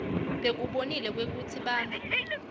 bakubonile kwekutsi bantfu